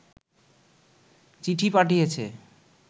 চিঠি পাঠিয়েছে